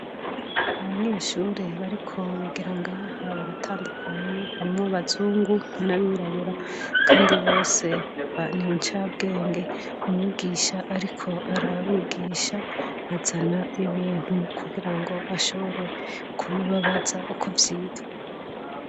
Abanyeshuri bariko bigira ngaha baratandukanye harimwo bazungu n'abirabura, kandi bose banincabwenge mumwigisha, ariko ar abigisha azana ibintu kugira ngo ashobore kubibabaza uko vyitwa.